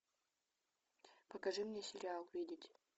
покажи мне сериал видеть